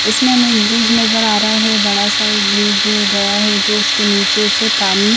इसमें हमें एक ब्रिज नज़र आ रहा है बड़ा सा एक ब्रिज गया है जो उसके नीचे से पानी--